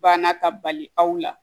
Banna ka bali aw la